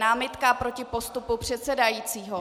Námitka proti postupu předsedajícího.